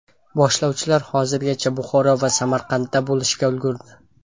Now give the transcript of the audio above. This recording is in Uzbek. Boshlovchilar hozirgacha Buxoro va Samarqandda bo‘lishga ulgurdi.